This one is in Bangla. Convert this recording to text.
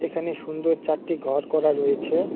এখানে সুন্দর চারটি ঘর করা রয়েছে।